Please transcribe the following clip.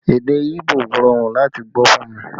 Èdè Ibo rọrùn láti gbọ́ fún mi